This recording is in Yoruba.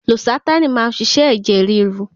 Losatánì má ń ṣiṣẹ́ ẹ̀jẹ̀ ríru.